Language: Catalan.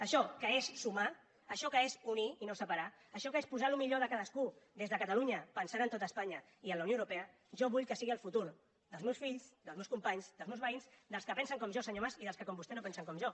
això que és sumar això que és unir i no separar això que és posar el millor de cadascú des de catalunya pensant en tot espanya i en la unió europea jo vull que sigui el futur dels meus fills dels meus companys dels meus veïns dels que pen sen com jo senyor mas i dels que com vostè no pen sen com jo